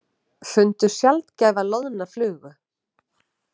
Fundu sjaldgæfa loðna flugu